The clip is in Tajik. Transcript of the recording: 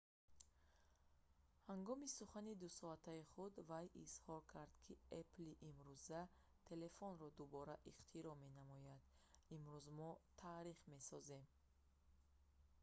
ҳангоми сухани 2-соатаи худ вай изҳор кард ки «apple-и имрӯза телефонро дубора ихтироъ менамояд имрӯз мо таърих месозем